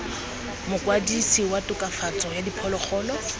mokwadise wa tokafatso ya diphologolo